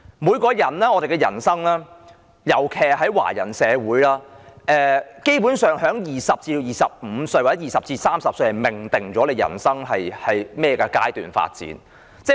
每個人的人生，尤其在華人社會，基本上在20歲至25歲或30歲時已命定了人生會朝甚麼方向發展。